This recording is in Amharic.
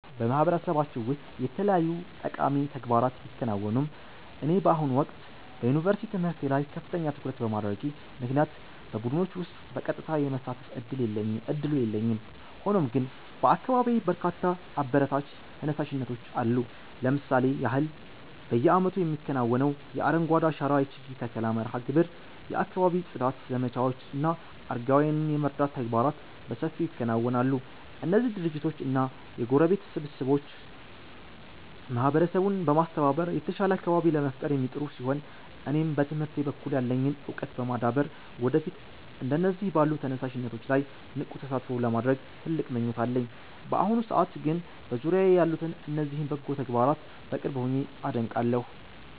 በማህበረሰባችን ውስጥ የተለያዩ ጠቃሚ ተግባራት ቢከናወኑም፣ እኔ በአሁኑ ወቅት በዩኒቨርሲቲ ትምህርቴ ላይ ከፍተኛ ትኩረት በማድረጌ ምክንያት በቡድኖች ውስጥ በቀጥታ የመሳተፍ ዕድሉ የለኝም። ሆኖም ግን በአካባቢዬ በርካታ አበረታች ተነሳሽነቶች አሉ። ለምሳሌ ያህል፣ በየዓመቱ የሚከናወነው የአረንጓዴ አሻራ የችግኝ ተከላ መርሃ ግብር፣ የአካባቢ ጽዳት ዘመቻዎች እና አረጋውያንን የመርዳት ተግባራት በሰፊው ይከናወናሉ። እነዚህ ድርጅቶችና የጎረቤት ስብስቦች ማህበረሰቡን በማስተባበር የተሻለ አካባቢ ለመፍጠር የሚጥሩ ሲሆን፣ እኔም በትምህርቴ በኩል ያለኝን ዕውቀት በማዳበር ወደፊት እንደነዚህ ባሉ ተነሳሽነቶች ላይ ንቁ ተሳትፎ ለማድረግ ትልቅ ምኞት አለኝ። በአሁኑ ሰዓት ግን በዙሪያዬ ያሉትን እነዚህን በጎ ተግባራት በቅርብ ሆኜ አደንቃለሁ።